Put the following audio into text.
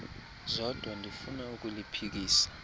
zodwa ndifuna ukuliphikisa